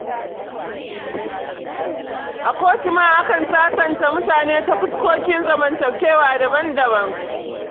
A kotu ma akan sasanta mutane ta fuskoki zamantakewa daban-daban.